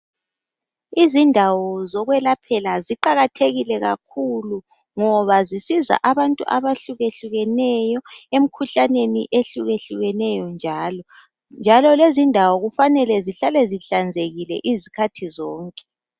Izindawo ezokwelaphela ziqakathekile kakhulu ngoba zisiza abantu abahlukeneyo emkhuhlaneni ehlukeneyo njalo. Njalo lezi indawo ukumele zihlale zihlanzekile izikhathi zonke.